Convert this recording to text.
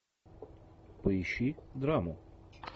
поищи драму